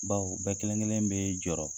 Bawo bɛɛ kelen kelen bɛ jɔrɔ